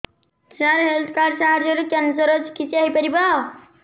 ସାର health card ସାହାଯ୍ୟରେ cancer ର ଚିକିତ୍ସା ହେଇପାରିବ